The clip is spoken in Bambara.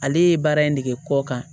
Ale ye baara in nege kɔ kan